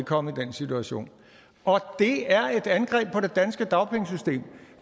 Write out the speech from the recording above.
komme i den situation og det er et angreb på det danske dagpengesystem